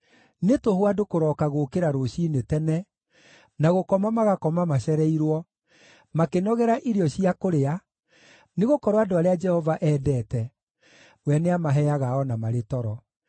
Nĩ tũhũ andũ kũrooka gũũkĩra rũciinĩ tene, na gũkoma magakoma macereirwo, makĩnogera irio cia kũrĩa, nĩgũkorwo andũ arĩa Jehova endete, we nĩamaheaga o na marĩ toro.